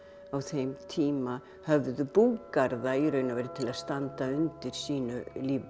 á þeim tíma höfðu búgarða í raun og veru til að standa undir sínum